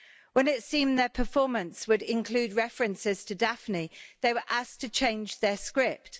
When it seemed their performance would include references to Daphne, they were asked to change their script.